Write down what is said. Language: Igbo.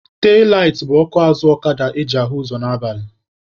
Telaitị bụ ọkụ azụ ọkada eji ahụ ụzọ n'abalị.